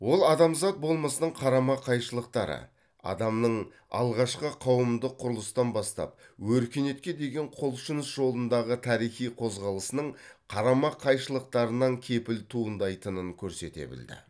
ол адамзат болмысының қарама қайшылықтары адамның алғашқы қауымдық құрылыстан бастап өркениетке деген құлшыныс жолындағы тарихи қозғалысының қарама қайшылықтарынан кепіл туындайтынын көрсете білді